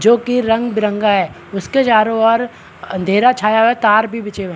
जो की रंग-बिरंगा है उसके चारो ओर अँधेरा छाया हुआ है तार भी बिछे हुए है।